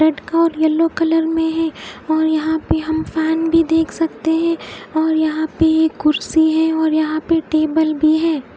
और yellow colour में है और यहा पे हम फेन भी देख सकते है और यहा पे एक कुड्सी है और यहा पे टेबल भी है।